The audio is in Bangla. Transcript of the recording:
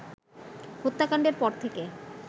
হত্যাকাণ্ডের পর থেকে